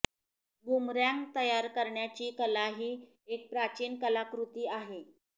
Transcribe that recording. boomerang तयार करण्याची कला ही एक प्राचीन कलाकृती आहे